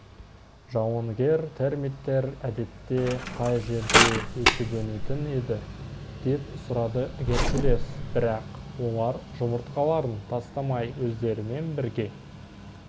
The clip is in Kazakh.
жауынгер термиттер әдетте қай жерде өсіп-өнетін еді деп сұрады геркулес бірақ олар жұмыртқаларын тастамай өздерімен бірге